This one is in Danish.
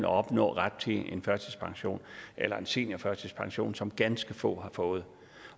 opnå ret til en førtidspension eller en seniorførtidspension som kun ganske få har fået